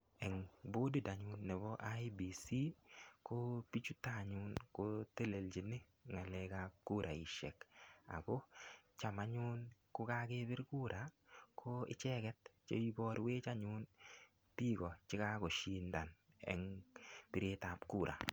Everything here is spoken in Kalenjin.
Eng bodit anyun nebo IEBC, ko bichuton anyun kotelelchin ng'alekap kuraishek. Ako cham anyun kokakepir kura, ko icheket che iborwech anyun biiko che kakoshindan eng piretap kura.